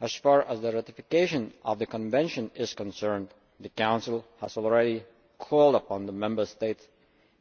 As far as ratification of the Convention is concerned, the Council has already called upon the Member States